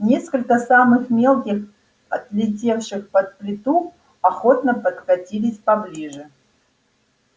несколько самых мелких отлетевших под плиту охотно подкатились поближе